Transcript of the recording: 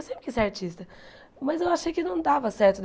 Eu sempre quis ser artista, mas eu achei que não dava certo.